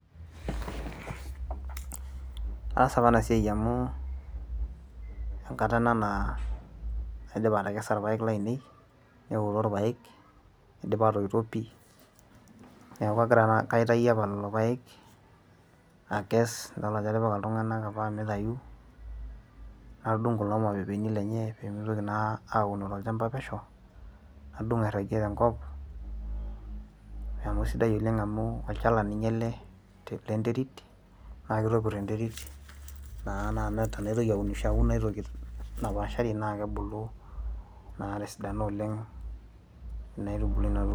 aas apa ena siai amu enkata ena naa naidipa atekesa irpayek lainei newoto irpayek idipa aoto pii neeku kaitayuo apa lolo payek akes idol ajo atipika iltung'anak apa mitayu nadung kulo mapepeni lenye pemitoki naa auno tolchamba pesho nadung airragie tenkop amu isidai oleng amu olchala ninye ele lenterit naa kitopirr enterit naa, naa tenaitoki aunisho aun aetoki napashari naa kebulu naa tesidano oleng ina aitubului.